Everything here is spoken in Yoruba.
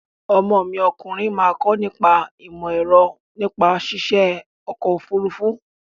Ọmọ mi ọkùnrin máa kọ nípa ìmọ-ẹ̀rọ nípa ṣiṣe ọkọ-òfurufú.